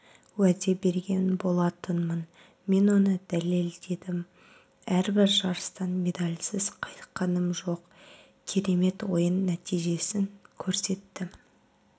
уәде берген болатынмын мен оны дәлелдедім әрбір жарыстан медальсіз қайтқаным жоқ керемет ойын нәтижесін көрсеттім